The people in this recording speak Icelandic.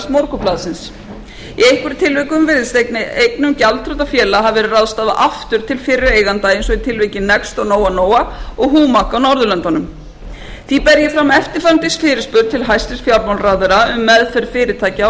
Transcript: morgunblaðsins í einhverjum tilvikum virðist eignum gjaldþrotafélaga hafi verið ráðstafað aftur til fyrri eigenda eins og í tilviki next og noa noa og humac á norðurlöndunum því ber ég fram eftirfarandi fyrirspurn til hæstvirts fjármálaráðherra um meðferð fyrirtækja